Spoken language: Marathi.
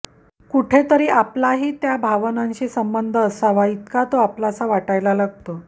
कुठेतरी आपलाही त्या भावनांशी संबंध असावा इतका तो आपलासा वाटायला लागतो